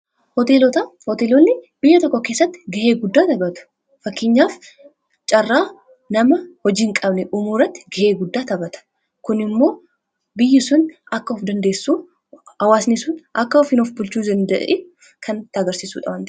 Hoteelonni biyya tokko keessatti gahee guddaa taphatu fakkeenyaaf caarraa nama hojiin hin qabnee uumuu irratti gahee guddaa taphata. Kun immoo biyyi sun akka of dandeessu hawaasni sun akka ofin of bulchuu danda'e kan nutti agarsisuu waan ta'eef.